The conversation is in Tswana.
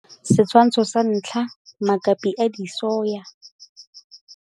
Setshwantsho sa 1 - Makapi a disoya.